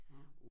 Mh